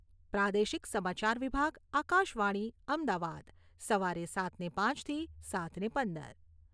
પ્રાદેશિક સમાચાર વિભાગ, આકાશવાણી, અમદાવાદ સવારે સાતને પાંચથી સાતને પંદર